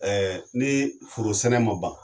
Ɛɛ ni foro sɛnɛ ma ban